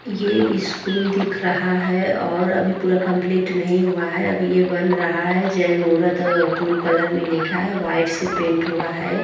ये इस स्कूल दिख रहा है और अभी पूरा कम्पलीट नही हुआ है। अभी ये बना रहा है। जय मुहूर्त अ ब्लू कलर में लिखा है। वाइट से पेंट हुआ है।